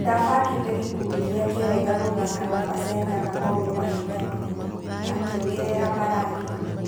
Ndabangĩte gĩkundi gĩake wega gũthaka na Pasenga na mau nĩ mahĩtia manene", akĩongerera Bellagio.